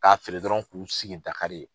K'a feere dɔrɔn k'u sigi Dakari yen.